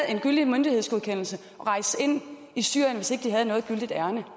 en gyldig myndighedsgodkendelse at rejse ind i syrien hvis ikke de havde noget gyldigt ærinde